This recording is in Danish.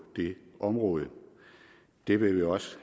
det område det vil vi også